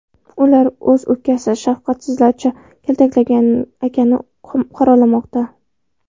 Ular o‘z ukasini shafqatsizlarcha kaltaklagan akani qoralamoqda.